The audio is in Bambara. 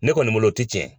Ne kɔni bolo o ti tiɲɛ